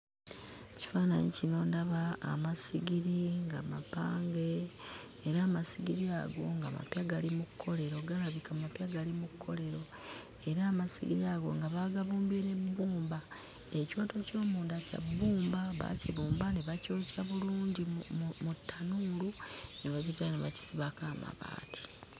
Kifaananyi kino ndaba amasigiri nga mapange era amasigiri ago nga mapya gali mu kkolero galabika mapya gali mu kkolero era amasigiri ago nga baagabumbye mu bbumba ekintu eky'omunda kya bbumba baakibumba ne bakyokya bulungi mu mu ttanuulu ne bagiddira ne bakisibako amabaati.